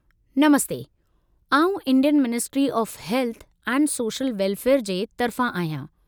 नमस्ते! आउं Indian ministry of health and social welfare जी तरफ़ां आहियां।